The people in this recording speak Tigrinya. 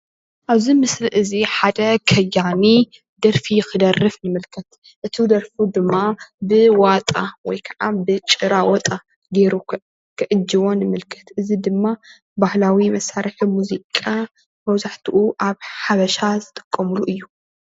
ኣብዚ ምስሊ እዚ ሓደ ከያኒ ደርፊ ክደርፍ ንምልከት፣ እቲ ደርፉ ድማ ብዋጣ ወይ ከዓ ብጭራዋጣ ገይሩ ክዕጅቦ ንምልከት፣ እዚ ድማ ባህላዊ መሳርሒ ሙዚቃ መብዛሕትኡ ኣብ ሓበሻ ዝጥቀምሉ እዩ፡፡